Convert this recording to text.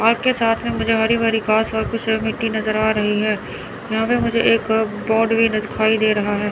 आपके साथ में मुझे हरी भरी घास और कुछ मिट्टी नजर आ रही है यहां पे मुझे एक बोड भी न दिखाई दे रहा है।